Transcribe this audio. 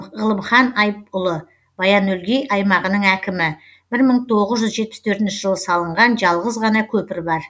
ғылымхан айыпұлы баян өлгей аймағының әкімі бір мың тоғыз жүз жетпіс төртінші жылы салынған жалғыз ғана көпір бар